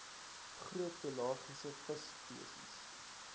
groot pelagiese visspesies